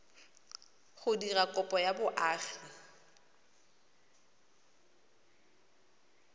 go dira kopo ya boagi